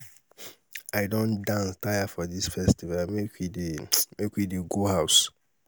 i don dance tire for dis festival make we dey make we dey go house.